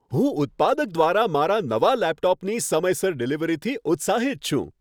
હું ઉત્પાદક દ્વારા મારા નવા લેપટોપની સમયસર ડિલિવરીથી ઉત્સાહિત છું.